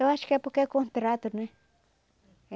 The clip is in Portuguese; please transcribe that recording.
Eu acho que é porque é contrato, né?